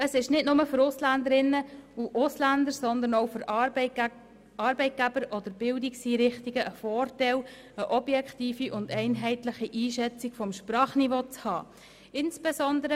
Es ist auch für die Arbeitgeber und Bildungseinrichtungen von Vorteil, eine objektive und einheitliche Einschätzung des Sprachniveaus zu haben.